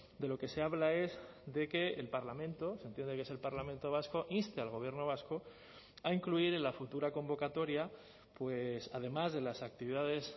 de lo que se habla es de que el parlamento se entiende que es el parlamento vasco inste al gobierno vasco a incluir en la futura convocatoria pues además de las actividades